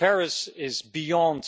Paris is beyond